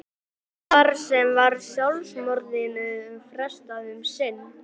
Þar með var sjálfsmorðinu frestað um sinn.